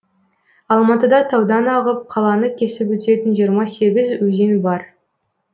алматыда таудан ағып қаланы кесіп өтетін жиырма сегіз өзен бар